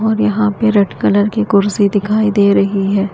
और यहां पे रेड कलर की कुर्सी दिखाई दे रही है।